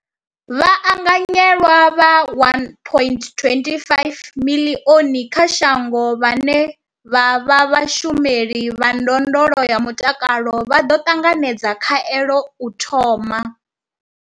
Vhaanganyelwa vha 1.25 miḽioni kha shango vhane vha vha vhashumeli vha ndondolo ya mutakalo vha ḓo ṱanganedza khaelo u thoma.